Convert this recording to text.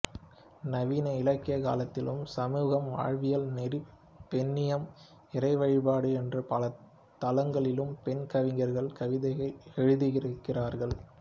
நவீன இலக்கிய காலத்திலும் சமூகம் வாழ்வியல் நெறி பெண்ணியம் இறை வழிபாடு என்று பல தளங்களிலும் பெண் கவிஞர்கள் கவிதையெழுதுகிறார்கள்